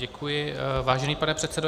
Děkuji, vážený pane předsedo.